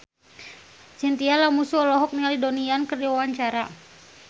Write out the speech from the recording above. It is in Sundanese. Chintya Lamusu olohok ningali Donnie Yan keur diwawancara